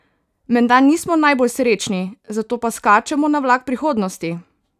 Menda nismo najbolj srečni, zato pa skačemo na vlak prihodnosti!